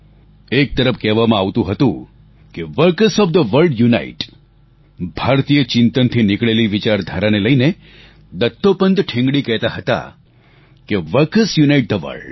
એક તરફ કહેવામાં આવતું હતું કે workers of the world unite ભારતીય ચિંતનથી નીકળેલી વિચારધારાને લઈને દત્તોપંત ઠેંગડી કહેતા હતા કે વર્કર્સ યુનાઇટ થે વર્લ્ડ